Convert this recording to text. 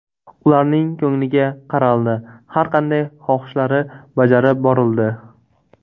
Ularning ko‘ngliga qaraldi, har qanday xohishlari bajarib borildi.